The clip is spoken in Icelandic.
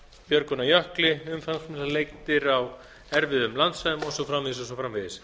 björgun af jökli umfangsmiklar leitir á erfiðum landsvæðum og svo framvegis og svo framvegis